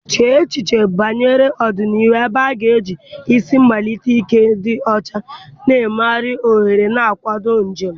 chee echiche banyere ọdịnihu ebe a ga-eji isi mmalite ike dị ọcha na mmeghari ohuru na-akwado njem.